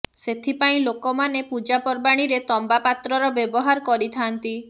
ସେଥି ପାଇଁ ଲୋକମାନେ ପୂଜା ପର୍ବାଣିରେ ତମ୍ବା ପାତ୍ରର ବ୍ୟବହାର କରିଥାନ୍ତି